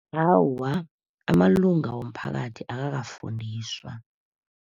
Awa, amalunga womphakathi akakafundiswa.